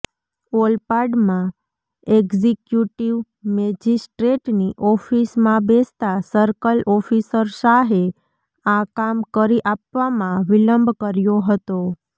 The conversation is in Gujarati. ઓલપાડમાં એક્ઝિક્યૂટિવ મેજિસ્ટ્રેટની ઓફિસમાં બેસતાં સર્કલ ઓફિસર શાહે આ કામ કરી આપવામાં વિલંબ કર્યો હતો